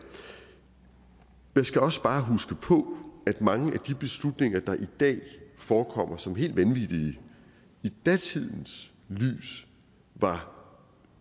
man skal også bare huske på at mange af de beslutninger der i dag forekommer som helt vanvittige i datidens lys var